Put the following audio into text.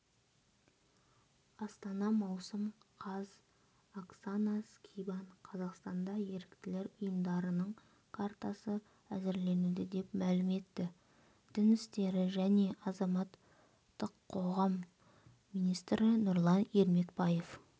астана маусым қаз оксана скибан қазақстанда еріктілер ұйымдарының картасы әзірленуде деп мәлім етті дін істері және азаматтық қоғам министрі нұрлан ермекбаев